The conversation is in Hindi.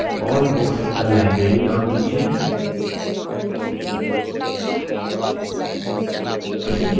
उसको list of all books in the library name दीजिये